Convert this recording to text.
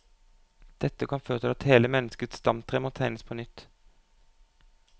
Dette kan føre til at hele menneskets stamtre må tegnes på nytt.